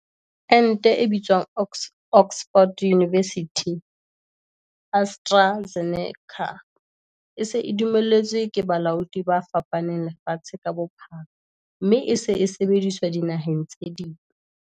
Ente e bitswang Oxford University-AstraZeneca e se e dumelletswe ke balaodi ba fapaneng lefatshe ka bophara mme e se e sebediswa dinaheng tse ding.